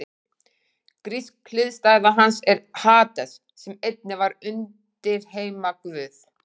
Grísk hliðstæða hans er Hades sem einnig var undirheimaguð.